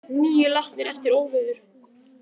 Níu látnir eftir óveður